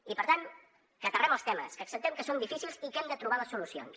i per tant que aterrem els temes que acceptem que són difícils i que hem de trobar les solucions